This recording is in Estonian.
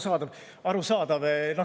Jaa, arusaadav.